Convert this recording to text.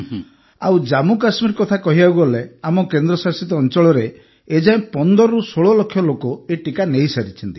ଆଉ ଜାମ୍ମୁକାଶ୍ମୀର କଥା କହିବାକୁ ଗଲେ ଆମ କେନ୍ଦ୍ରଶାସିତ ଅଞ୍ଚଳରେ ଏ ଯାଏ ୧୫ରୁ ୧୬ ଲକ୍ଷ ଲୋକ ଏହି ଟିକା ନେଇସାରିଛନ୍ତି